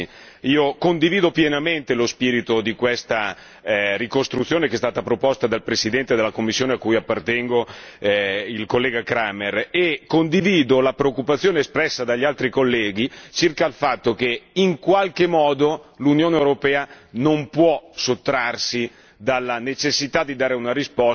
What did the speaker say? Io condivido pienamente lo spirito di questa ricostruzione che è stata proposta dal presidente della commissione a cui appartengo, il collega Cramer, e condivido la preoccupazione espressa dagli altri colleghi circa il fatto che, in qualche modo, l'Unione europea non può sottrarsi alla necessità di dare una risposta